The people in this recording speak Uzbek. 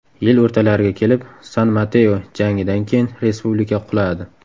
Yil o‘rtalariga kelib, San-Mateo jangidan keyin respublika quladi.